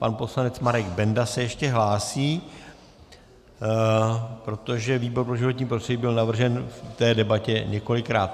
Pan poslanec Marek Benda se ještě hlásí, protože výbor pro životní prostředí byl navržen v té debatě několikrát.